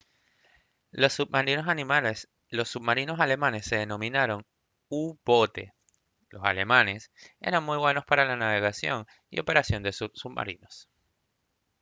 los submarinos alemanes se denominaron u-boote los alemanes eran muy buenos para la navegación y operación de sus submarinos